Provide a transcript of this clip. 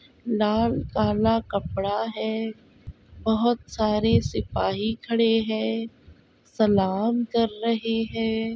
लालकाला कपड़ा है बहोत सारे सिपाही खड़े हैं सलाम कर रहे हैं।